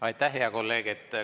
Aitäh, hea kolleeg!